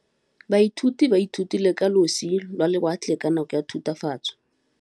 Baithuti ba ithutile ka losi lwa lewatle ka nako ya Thutafatshe.